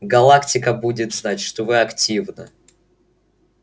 галактика будет знать что вы активно